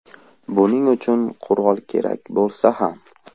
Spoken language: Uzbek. Buning uchun qurol kerak bo‘lsa ham.